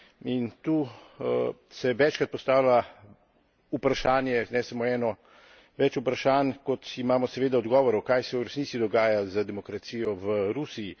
In tu se večkrat postavlja vprašanje, ne samo eno, več vprašanj, kot imamo seveda odgovorov, kaj se v resnici dogaja z demokracijo v Rusiji.